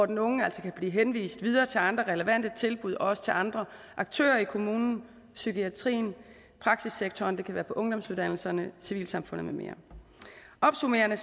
den unge altså kan blive henvist til andre relevante tilbud og også til andre aktører i kommunen psykiatrien praksissektoren ungdomsuddannelserne civilsamfundet med mere opsummerende